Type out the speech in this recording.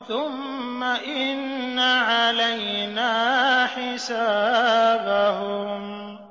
ثُمَّ إِنَّ عَلَيْنَا حِسَابَهُم